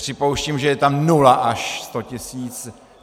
Připouštím, že je tam nula až 100 tisíc.